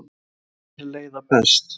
Logn er leiða best.